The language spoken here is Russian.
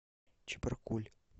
чебаркуль